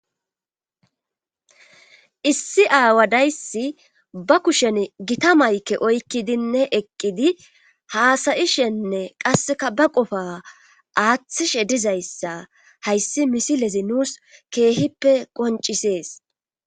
issi aawa dayssi ba kushen gita mayke oykkidinne eqqidi haasayishenne qasseka ba qofa aaththishe dizayssa hayssi misilezi nuus keehippe qoncisees